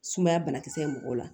Sumaya banakisɛ ye mɔgɔw la